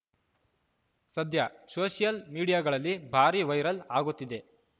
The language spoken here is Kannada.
ಸದ್ಯ ಸೋಷಿಯಲ್‌ ಮೀಡಿಯಾಗಳಲ್ಲಿ ಭಾರಿ ವೈರಲ್‌ ಆಗುತ್ತಿದೆ